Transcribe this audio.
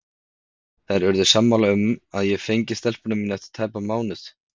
Þær urðu sammála um að ég fengi stelpuna mína eftir tæpan mánuð.